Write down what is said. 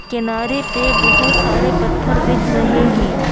किनारे पे बहुत सारे पत्थर दिख रहे हैं।